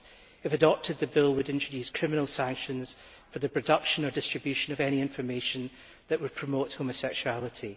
If adopted, the bill would introduce criminal sanctions for the production or distribution of any information that would promote' homosexuality.